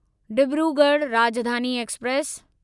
Dibrugarh Rajdhani express